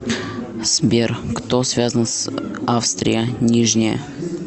сбер кто связан с австрия нижняя